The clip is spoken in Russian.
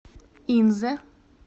инзе